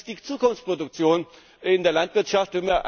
Das ist die Zukunftsproduktion in der Landwirtschaft!